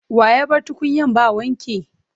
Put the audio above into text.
Wa ya bar tukunyan ba wanki?